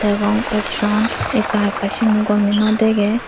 degong ekjon ekka ekka sino gome naw degei.